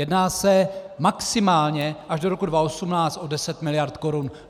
Jedná se maximálně až do roku 2018 o 10 mld. korun.